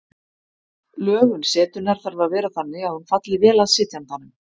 Lögun setunnar þarf að vera þannig að hún falli vel að sitjandanum.